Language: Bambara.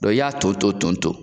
i y'a ton ton ton ton